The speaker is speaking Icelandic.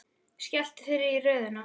Skelltu þér í röðina.